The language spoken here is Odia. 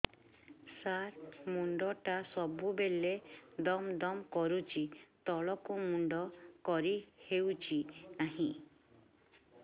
ସାର ମୁଣ୍ଡ ଟା ସବୁ ବେଳେ ଦମ ଦମ କରୁଛି ତଳକୁ ମୁଣ୍ଡ କରି ହେଉଛି ନାହିଁ